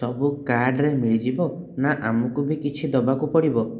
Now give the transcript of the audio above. ସବୁ କାର୍ଡ ରେ ମିଳିଯିବ ନା ଆମକୁ ବି କିଛି ଦବାକୁ ପଡିବ